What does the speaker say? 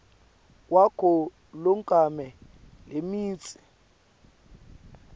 wakho loncome lemitsi